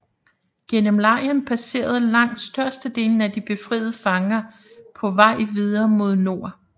Gennem lejren passerede langt størstedelen af de befriede fanger på vej videre mod nord